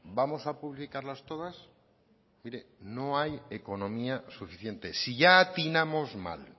vamos a publicarlas todas mire no hay economía suficiente si ya atinamos mal